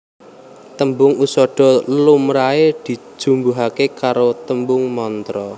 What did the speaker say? Tembung usadha lumrahe dijumbuhake karo tembung mantra